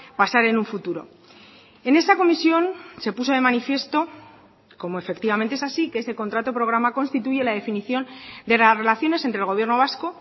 pasar en un futuro en esa comisión se puso de manifiesto como efectivamente es así que ese contrato programa constituye la definición de las relaciones entre el gobierno vasco